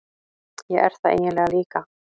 Ég er það eiginlega líka.